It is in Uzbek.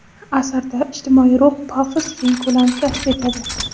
Asarda ijtimoiy ruh - pafos keng ko‘lam kasb etadi.